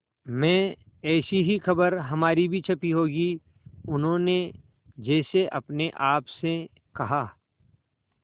में ऐसी ही खबर हमारी भी छपी होगी उन्होंने जैसे अपने आप से कहा